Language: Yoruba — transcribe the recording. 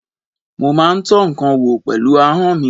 Mo máa ń tọ́ ǹkan wò pẹ̀lú ahọ́n mi.